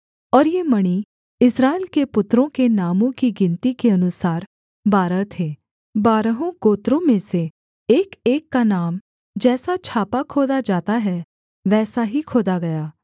और ये मणि इस्राएल के पुत्रों के नामों की गिनती के अनुसार बारह थे बारहों गोत्रों में से एकएक का नाम जैसा छापा खोदा जाता है वैसा ही खोदा गया